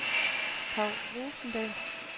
Paw Rosendahl